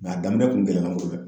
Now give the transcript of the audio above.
a daminɛ kun gɛlɛyala n bolo dɛ.